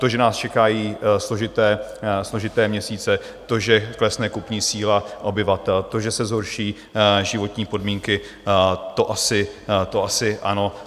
To, že nás čekají složité měsíce, to, že klesne kupní síla obyvatel, to, že se zhorší životní podmínky, to asi ano.